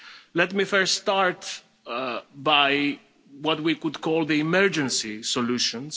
Let me first start by what we could call the emergency solutions.